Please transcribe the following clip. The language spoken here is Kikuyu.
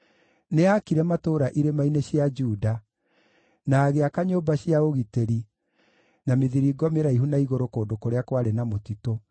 Nĩaakire matũũra irĩma-inĩ cia Juda na agĩaka nyũmba cia ũgitĩri na mĩthiringo mĩraihu na igũrũ kũndũ kũrĩa kwarĩ na mũtitũ.